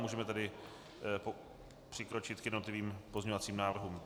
Můžeme tedy přikročit k jednotlivým pozměňovacím návrhům.